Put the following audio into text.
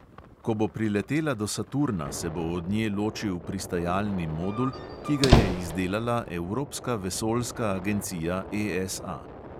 Ko bo priletela do saturna, se bo od nje ločil pristajalni modul, ki ga je izdelala evropska vesoljska agencija ESA.